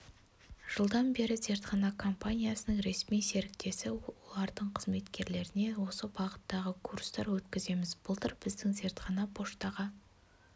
жылдан бері зертхана компаниясының ресми серіктесі олардың қызметкерлеріне осы бағыттағы курстар өткіземіз былтыр біздің зертхана поштаға